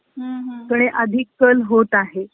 कडे अधिक कल होत आहे .